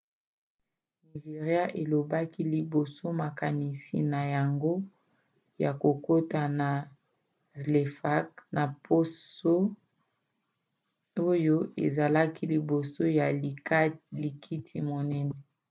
nigéria elobelaki liboso makanisi na yango ya kokota na zlecaf na poso oyo ezalaka liboso ya likita monene